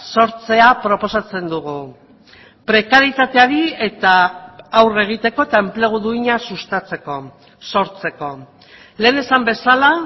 sortzea proposatzen dugu prekaritateari eta aurre egiteko eta enplegu duina sustatzeko sortzeko lehen esan bezala